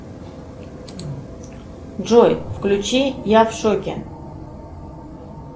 джой включи я в шоке